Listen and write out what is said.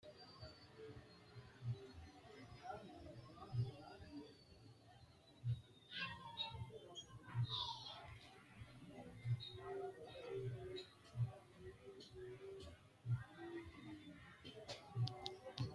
Konni woroonni noori bixxilluwa maxaafa hiittoonni qorowotenni amaxxa dandiinanniro hedo uyitanno- reeti Konni woroonni noori bixxilluwa maxaafa hiittoonni qorowotenni amaxxa.